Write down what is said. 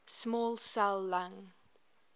small cell lung